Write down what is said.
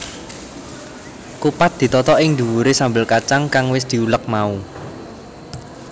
Kupat ditata ing dhuwuré sambel kacang kang wis diulek mau